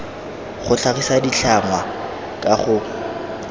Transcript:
go tlhagisa ditlhangwa ka go